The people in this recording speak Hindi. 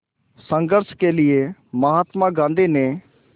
संघर्ष के लिए महात्मा गांधी ने